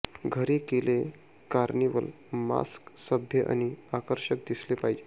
घरी केले carnival mask सभ्य आणि आकर्षक दिसले पाहिजे